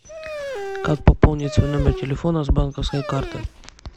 как пополнить свой номер телефона с банковской карты